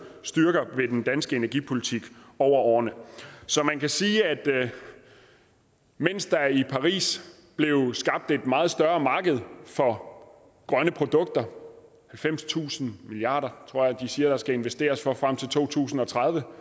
styrker ved den danske energipolitik over årene så man kan sige at mens der i paris blev skabt et meget større marked for grønne produkter halvfemstusind milliard tror jeg de siger at der skal investeres for frem til to tusind og tredive